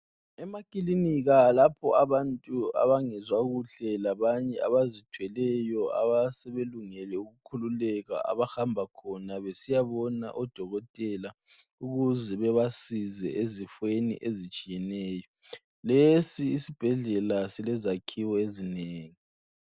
Emakilinika lapho abantu abangezwa kuhle labanye abazithweleyo abasebelungele ukukhululeka abahamba khona besiya bona odokotela ukuze bebasize ezifeni ezitshiyeneyo lesi isibhedlela silezakhiwo ezinengi